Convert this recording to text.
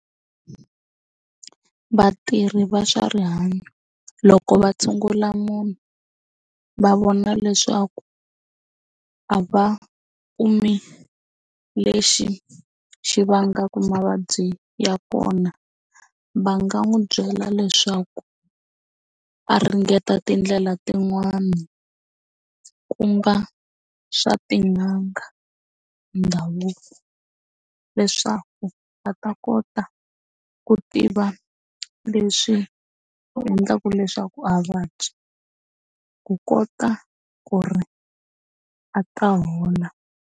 Vatirhi va swa rihanyo loko va tshungula munhu va vona leswaku a va kumi lexi xi vangaka mavabyi ya kona va nga n'wi byela leswaku a ringeta tindlela tin'wani ku nga swa tin'anga ndhavuko leswaku va ta kota ku tiva leswi endlaka leswaku a vuvabyi ku kota ku ri a ta hola.